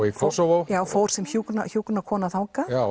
í Kosovo já fór sem hjúkrunarfræðingur þangað